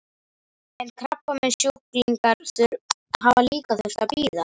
En krabbameinssjúklingar hafa líka þurft að bíða?